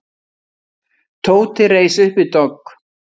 Tóti reis upp við dogg.